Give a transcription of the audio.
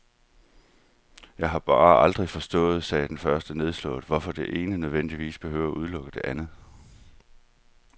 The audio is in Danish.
Jeg har bare aldrig forstået, sagde den første nedslået, hvorfor det ene nødvendigvis behøver at udelukke det andet.